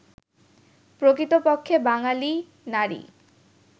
প্রকৃতপক্ষে বাঙালি নারী